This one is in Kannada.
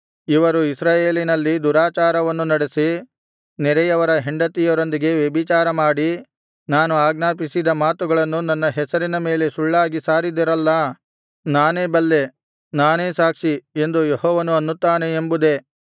ಇವರು ಇಸ್ರಾಯೇಲಿನಲ್ಲಿ ದುರಾಚಾರವನ್ನು ನಡೆಸಿ ನೆರೆಯವರ ಹೆಂಡತಿಯರೊಂದಿಗೆ ವ್ಯಭಿಚಾರಮಾಡಿ ನಾನು ಆಜ್ಞಾಪಿಸದ ಮಾತುಗಳನ್ನು ನನ್ನ ಹೆಸರಿನ ಮೇಲೆ ಸುಳ್ಳಾಗಿ ಸಾರಿದಿರಲ್ಲಾ ನಾನೇ ಬಲ್ಲೆ ನಾನೇ ಸಾಕ್ಷಿ ಎಂದು ಯೆಹೋವನು ಅನ್ನುತ್ತಾನೆ ಎಂಬುದೇ